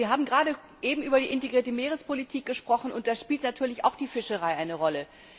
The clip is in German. Wir haben gerade eben über die integrierte Meerespolitik gesprochen und da spielt natürlich auch die Fischerei eine Rolle.